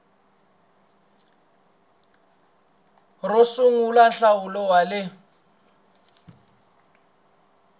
ro sungula nhlawulo wa le